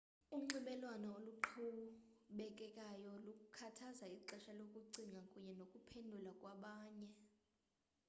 unxibelelwano oluqhubekekayo lukhuthaza ixesha lokucinga kunye nokuphendula kwabanye